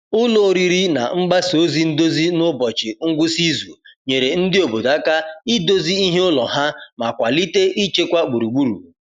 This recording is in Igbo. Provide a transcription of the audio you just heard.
Ụlọ oriri na mgbasa ozi ndozi n’ụbọchị ngwụsị izu nyere ndị obodo aka idozi ihe ụlọ ha ma kwalite ịchekwa gburugburu.